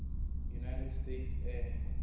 united states air